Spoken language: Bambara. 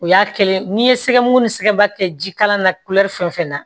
O y'a kelen n'i ye sɛgɛmugu ni sɛgɛn ba kɛ jikala na fɛn o fɛn na